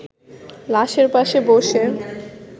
লাশের পাশে বসে